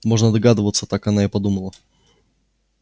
можно догадываться так она и подумала